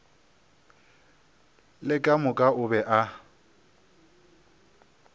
le ka moka o be